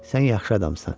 Sən yaxşı adamsan.